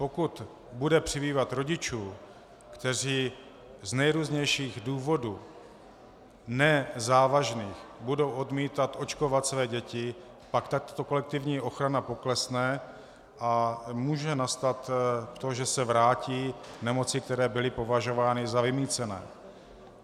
Pokud bude přibývat rodičů, kteří z nejrůznějších důvodů, ne závažných, budou odmítat očkovat své děti, pak tato kolektivní ochrana poklesne a může nastat to, že se vrátí nemoci, které byly považovány za vymýcené.